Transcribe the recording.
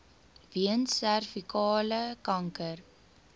weens servikale kanker